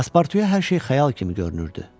Paspartuya hər şey xəyal kimi görünürdü.